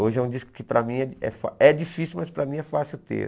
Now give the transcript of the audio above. Hoje é um disco que para mim é fá é difícil, mas para mim é fácil ter.